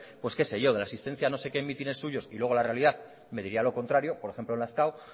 pues qué sé yo de la asistencia a no sé que mítines suyo y luego la realidad me diría lo contrario por ejemplo en lazkao